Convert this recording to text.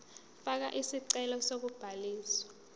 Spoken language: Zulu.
fakela isicelo sokubhaliswa